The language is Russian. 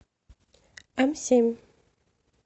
эмсемь